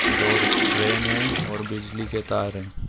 दो ट्रैन है और बिजली के तार है।